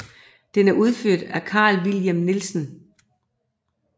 Den er udført af Carl Vilhelm Nielsen